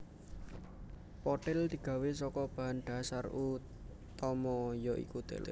Pothil digawe saka bahan dhasar utama ya iku tela